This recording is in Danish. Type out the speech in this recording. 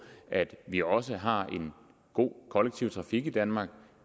at vi også har en god kollektiv trafik i danmark